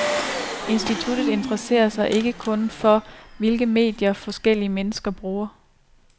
Instituttet interesserer sig ikke kun for, hvilke medier forskellige mennesker bruger.